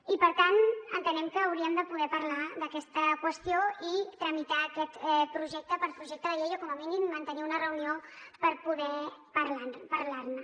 i per tant entenem que hauríem de poder parlar d’aquesta qüestió i tramitar aquest projecte per projecte de llei o com a mínim mantenir una reunió per poder parlar ne